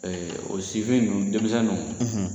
Ɛɛ o sifin nun denmisɛn nunnu